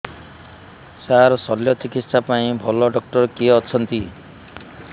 ସାର ଶଲ୍ୟଚିକିତ୍ସା ପାଇଁ ଭଲ ଡକ୍ଟର କିଏ ଅଛନ୍ତି